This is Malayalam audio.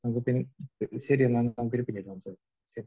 അത് പി...ശരി എന്നാൽ. നമുക്ക് ഇനി പിന്നീട് സംസാരിക്കാം. ശരി.